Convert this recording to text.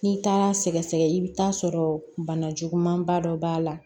N'i taara sɛgɛsɛgɛ i bɛ taa sɔrɔ bana juguman ba dɔ b'a la